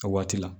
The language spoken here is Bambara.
A waati la